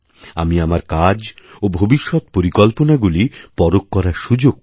আমি আমার কাজ ওভবিষ্যৎ পরিকল্পনাগুলি পরখ করার সুযোগ পাই